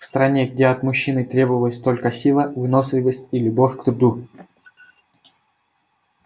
в стране где от мужчины требовалась только сила выносливость и любовь к труду